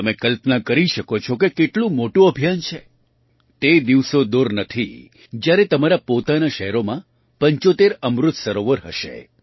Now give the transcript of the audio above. તમે કલ્પના કરી શકો છો કે કેટલું મોટું અભિયાન છે તે દિવસો દૂર નથી જ્યારે તમારાં પોતાનાં શહેરોમાં ૭૫ અમૃત સરોવર હશે